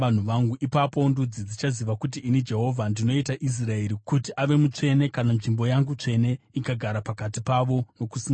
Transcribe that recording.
Ipapo ndudzi dzichaziva kuti ini Jehovha ndinoita Israeri kuti ave mutsvene, kana nzvimbo yangu tsvene ikagara pakati pavo nokusingaperi.’ ”